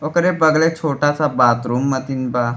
ओकरे बगले छोटा -सा बाथरूम अथीन बा --